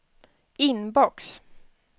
inbox